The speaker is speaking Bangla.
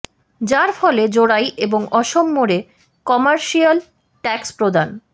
যার ফলে জোড়াই এবং অসম মোড়ে কমারশিলায় ট্যাক্স প্রদান